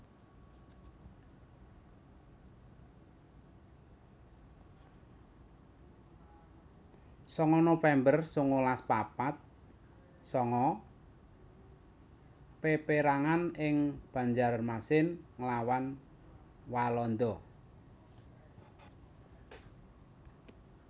sanga november sangalas papat sanga Peperangan ing Banjarmasin nglawan Walanda